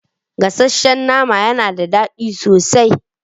Gasasshen nama yana da daɗi sosai.